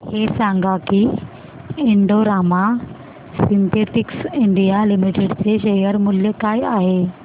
हे सांगा की Indo Rama Synthetics India Limited चे शेअर मूल्य काय आहे